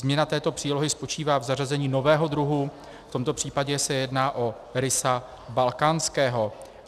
Změna této přílohy spočívá v zařazení nového druhu, v tomto případě se jedná o rysa balkánského.